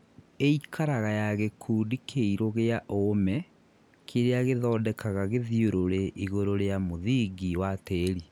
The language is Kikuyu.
Īikaraga ya gĩkundi kĩirũ gĩa ũũme kĩrĩa gĩthondekaga gĩthiũrũre igũrũ rĩa mũthingi wa tĩri